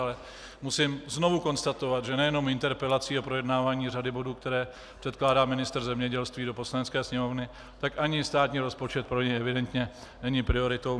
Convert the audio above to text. Ale musím znovu konstatovat, že nejenom interpelací a projednávání řady bodů, které předkládá ministr zemědělství do Poslanecké sněmovny, tak ani státní rozpočet pro něj evidentně není prioritou.